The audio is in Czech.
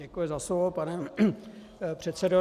Děkuji za slovo, pane předsedo.